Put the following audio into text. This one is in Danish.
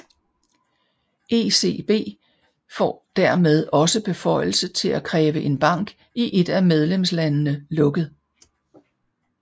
ECB får dermed også beføjelse til at kræve en bank i et af medlemslandene lukket